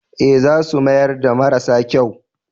Ee, za su mayar da marasa kyau.